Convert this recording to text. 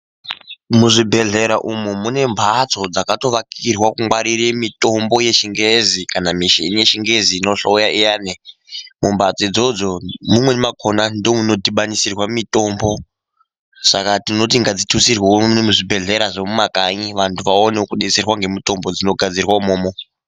Muzvibhehlera umu munemhatso dzakatovakirwa kungwarira mitombo yechingezi kana michini yechingezi inonhloya iyaani ,mumbatso idzodzo mumweni mwakona ndimwo munodhibaniswirwa mitombo saka tinoti ngadzitutsirwewo muno muzvibhehlera zvemumakanyi vantu vaonewo kudetserwa ngemitombo dzinogadzirwe umomo.